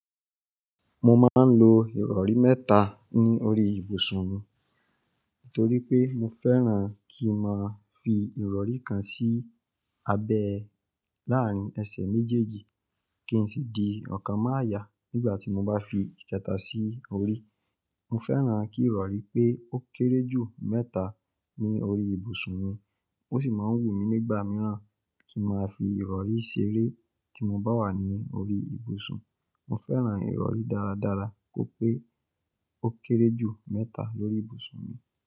Mo máa ń lo ìrọrí mẹ́ta ní orí ìbùsùn mi, torí pé mo fẹ́ràn kí n máa fi ìrọrí kan sí abẹ láàrín ẹsẹ̀ méjèèjì kí n sì di ọ̀kan mọ́ àyà nígbà tí mo bá fi ìkẹta sí orí. Mo fẹ́ràn kí ìrọrí pé ó kéré jù mẹ́ta ní orí ìbùsùn mi. Ó sì máa ń wù mí nígbà mìíràn kí n máa fi ìrọrí ṣeré tí mo bá wà ní orí ìbùsùn. Mo fẹ́ràn ìrọrí dáradára kó pé ó kéré jù mẹ́ta lórí ìbùsùn mi.